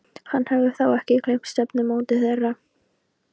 Hann hafði þá ekki gleymt stefnumóti þeirra.